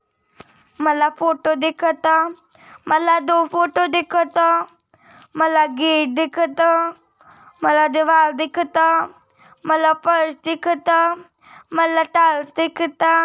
मला फोटो दिखत मला दो फोटो दिखत मला गेट दिखत मला दिवाल दिखत मला फर्श दिखत मला टाइल्स दिखत।